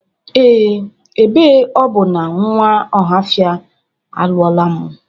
Ee, ebe ọ bụ na nwa Ọhafia alụla mụ